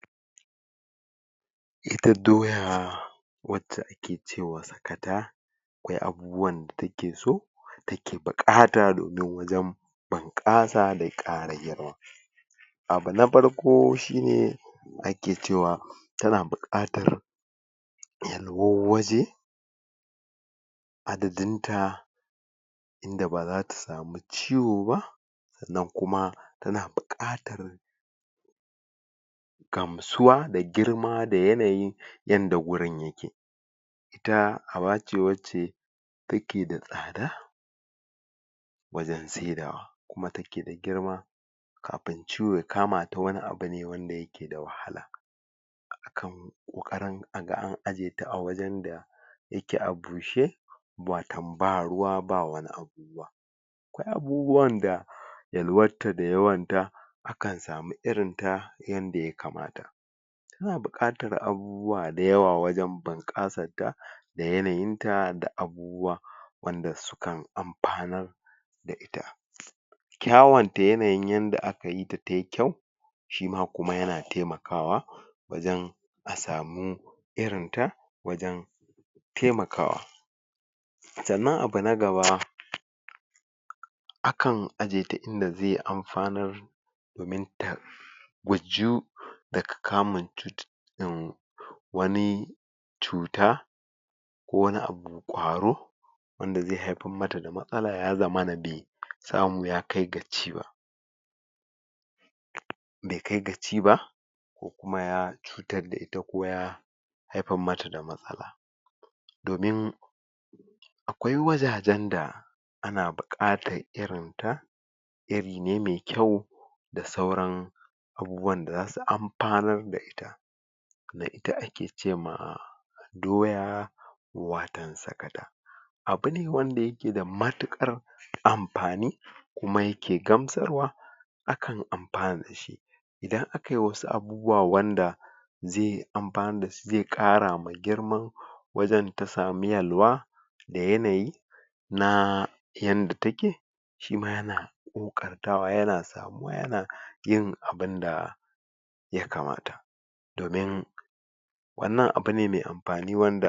Ita doya wacce ake cewa sakata akwai abubuwan da take so take buƙata domin wajen bunƙasa da kara yawa. Abu na farko shine ake cewa ta na bukatar yalwar waje, adadinta inda ba zata samu ciwo ba sannan kuma ta na buƙatar gamsuwa da girma da yanayin yanda gurin yake. Ita abace wacce take da tsada wajen saidawa kuma take da girma. Kafin ciwo ya kamata wani abu ne wanda yake da wahala. Akan ƙoƙarin aga an ajye ta wurin da yake a bushe wato ba ruwa ba wani abu. Abubuwan da yalwar ta da yawanta akan samu irinta, yadda ya kamata. Ta na buƙatar abubuwa da yawa wajen bunƙasarta da yanayinta da abubuwa wanda sukan amfanar da ita. Kyawunta yanayin yanda aka yita tayi kyau shima kuma ya na taimakawa wajen a samu irinta wajen taimakawa sannan abu na gaba akan ajiyeta inda zai amfanar, domin ta gujiyu daga kamin cututtuka wani cuta wanda zai haifar mata da matsala ya zamana bai samu ya kai ga ci ba, bai kai ga ci ba ko kuma ya cutar da ita ko ya haifar mata da matsala domin akwai wajajen da ana buƙatar irinta iri ne mai kyau, da sauran abubuwan da za su amfanar da ita yadda ake cema doya watan sakata abu ne wanda yake da matuƙar amfani kuma yake gamsarwa kan amfanun shi idan akai wasu abubuwa wanda zai amfanar, zai karama girman wajan ta samu yalwa, da yanayi, na yanda take shima ya na ƙoƙartawa, ya na samuwa ya na yin abunda ya kamata domin wannan abu ne mai amfani wanda.